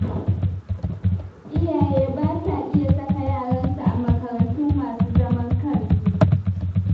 Iyaye ba sa iya saka yaransu a makarantu masu zaman kansu.